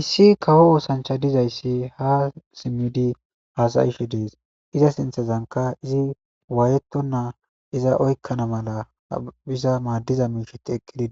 Issi kawo ossanchay diizayssi ha simiddi hasaishshe dess iza sinththenka izi wayetona oyqana mala madiza mishshay